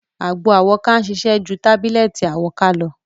Àgbo àwọ́ká ń ṣiṣẹ́ ju Tábílẹ̀tì àwọ́ká lọ.